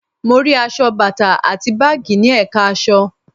Mo rí aṣọ, bàtà àti báàgì ní ẹ̀ka aṣọ